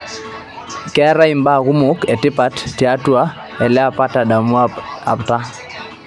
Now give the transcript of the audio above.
keetae mbaa kumok etipat tiatua ele apa tadamu taa